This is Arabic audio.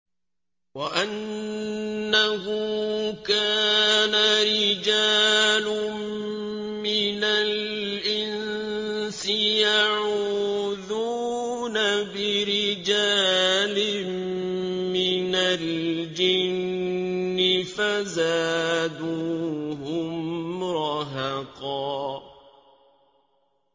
وَأَنَّهُ كَانَ رِجَالٌ مِّنَ الْإِنسِ يَعُوذُونَ بِرِجَالٍ مِّنَ الْجِنِّ فَزَادُوهُمْ رَهَقًا